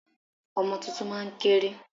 Ọmọ tuntun máa ń kéré.